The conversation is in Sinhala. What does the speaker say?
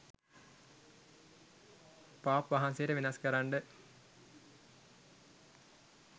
පාප් වහන්සේට වෙනස් කරන්ඩ